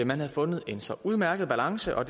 man havde fundet en så udmærket balance og